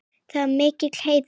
Það var mikill heiður.